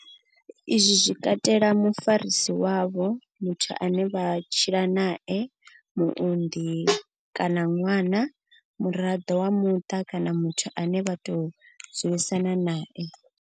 Izwi zwi katela mufarisi wavho, muthu ane vha tshila nae, muunḓi kana ṅwana, muraḓo wa muṱa kana muthu ane vha tou dzulisana nae.